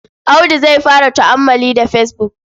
Audu zai fara tu'ammali da fesbuk.